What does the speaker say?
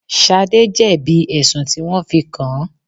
Shade jẹ́ bí ẹ̀sùn tí wọn fi kàn án.